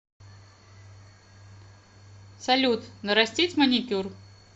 салют нарастить маникюр